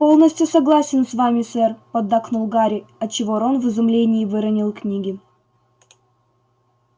полностью согласен с вами сэр поддакнул гарри отчего рон в изумлении выронил книги